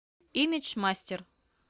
имидж мастер